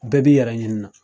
Bɛɛ b'i yɛrɛ ɲini na.